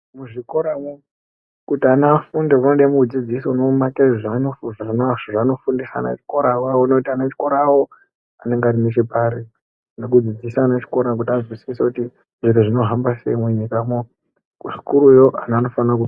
Muzvikoramwo kuti ana afunde munode mudzidzisi unomaita zvaanofundisa ana echikora awawo. Kuona kuti ana echikorawo anenge ari nechepari. Nekudzidzisa ana echikora kuti azwisise kuti zviro zvinohamba sei munyikamwo. Kusikuruyo ana anofana ku...